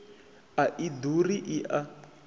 a i ḓuri i a